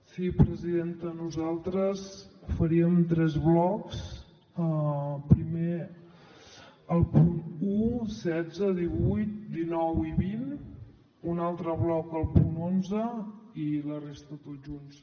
sí presidenta nosaltres faríem tres blocs primer els punts un setze divuit dinou i vint un altre bloc el punt onze i la resta tots junts